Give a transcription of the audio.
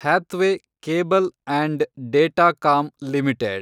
Hathway cable and datacom limited